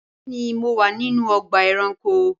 Bẹẹni mo wa ninu ọgba ẹranko